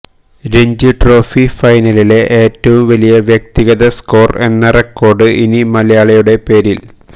Ranji trophy ഫൈനലിലെ ഏറ്റവും വലിയ വ്യക്തിഗത സ്കോര് എന്ന റെക്കോര്ഡ് ഇനി മലയാളിയുടെ പേരില്